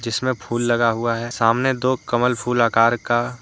इसमें फूल लगा हुआ है सामने दो कमल फूल आकार का।